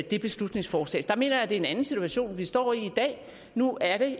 det beslutningsforslag mener jeg det en anden situation vi står i i dag nu er det